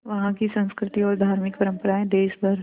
वहाँ की संस्कृति और धार्मिक परम्पराएं देश भर